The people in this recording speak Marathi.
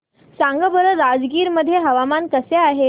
सांगा बरं राजगीर मध्ये हवामान कसे आहे